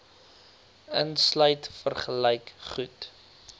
insluit vergelyk goed